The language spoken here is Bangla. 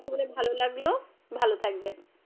কথা বলে ভালো লাগলো ভালো থাকবেন।